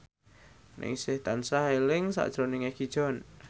Ningsih tansah eling sakjroning Egi John